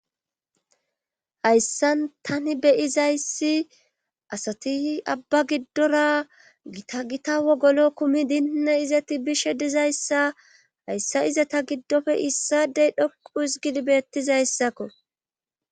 hayssan tani beyizayssi asati abba giddora gita gita wogolo kumi dinne izati bishe dizayssa hayssa iza ta giddofe issadey dhoqu hizigid betizaysako